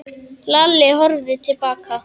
Lalli horfði til baka.